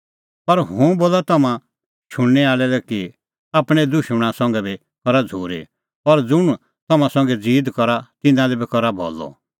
पर हुंह बोला तम्हां शुणनै आल़ै लै कि आपणैं दुशमणा संघै बी करा झ़ूरी और ज़ुंण तम्हां संघै ज़ीद करा तिन्नां लै बी करा भलअ